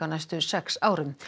næstu sex árum